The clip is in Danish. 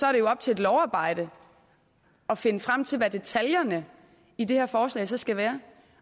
er det jo op til et lovarbejde at finde frem til hvad detaljerne i det her forslag så skal være